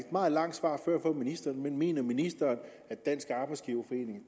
meget langt svar før fra ministeren men mener ministeren at dansk arbejdsgiverforening